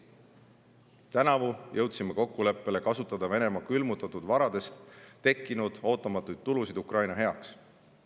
Tänavu jõudsime kokkuleppele kasutada Venemaa külmutatud varadest tekkinud ootamatuid tulusid Ukraina heaks.